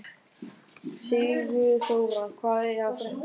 Sigurþóra, hvað er að frétta?